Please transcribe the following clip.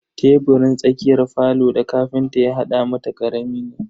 Teburin tsakiyar falo da ƙafinta ya hada mata karami ne.